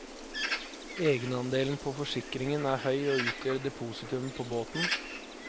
Egenandelen på forsikringen er høy og utgjør depositumet på båten.